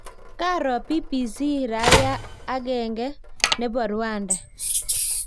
Kaaro BBC raia akeng nepo Rwanda.